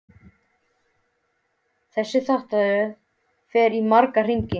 Þessi þáttaröð fer í marga hringi.